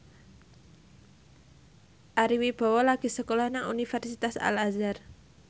Ari Wibowo lagi sekolah nang Universitas Al Azhar